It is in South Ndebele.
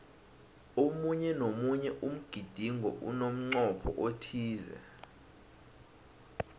omunye nomunye umgidingo unemncopho othize